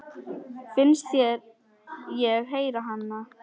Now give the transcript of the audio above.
Finnst ég heyra hana.